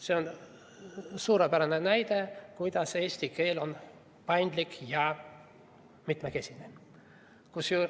See on suurepärane näide, kuidas eesti keel on paindlik ja mitmekesine.